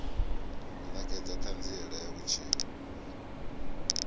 u nekedza thanziela ya vhutshilo